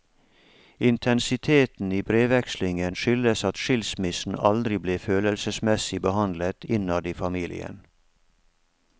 Intensiteten i brevvekslingen skyldes at skilsmissen aldri ble følelsemessig behandlet innad i familien.